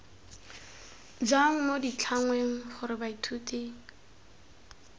jang mo ditlhangweng gore baithuti